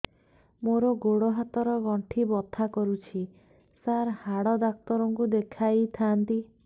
ମୋର ଗୋଡ ହାତ ର ଗଣ୍ଠି ବଥା କରୁଛି ସାର ହାଡ଼ ଡାକ୍ତର ଙ୍କୁ ଦେଖାଇ ଥାନ୍ତି